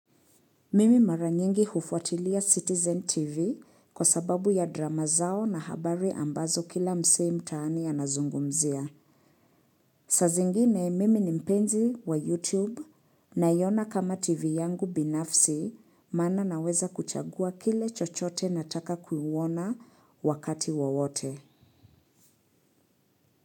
Mimi mara nyingi hufuatilia Citizen TV kwa sababu ya drama zao na habari ambazo kila msee mtaani anazungumzia. Saa zingine mimi ni mpenzi wa YouTube naiona kama TV yangu binafsi maana naweza kuchagua kile chochote nataka kuwuona wakati wowote.